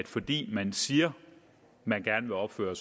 fordi man siger at man gerne vil opføre